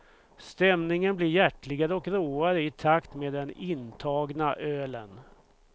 Stämningen blir hjärtligare och råare i takt med den intagna ölen.